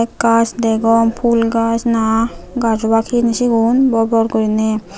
key gaaj degong pul gaaj na gaaj obak hijeni sigun bor bor guriney.